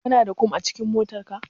Kana da kum a cikin motarka?